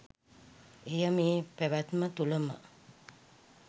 එය මේ පැවැත්ම තුළ ම,